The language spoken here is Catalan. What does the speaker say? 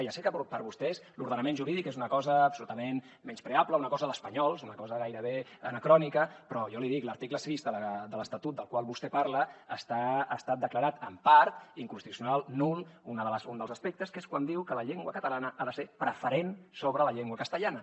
ja sé que per vostès l’ordenament jurídic és una cosa absolutament menyspreable una cosa d’espanyols una cosa gairebé anacrònica però jo l’hi dic l’article sis de l’estatut del qual vostè parla ha estat declarat en part inconstitucional nul un dels aspectes que és quan diu que la llengua catalana ha de ser preferent sobre la llengua castellana